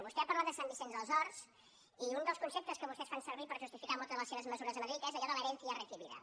vostè ha parlat de sant vicenç dels horts i un dels conceptes que vostès fan servir per justificar moltes de les seves mesures a madrid és allò de la herencia recibida